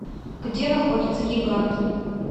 где находится гигант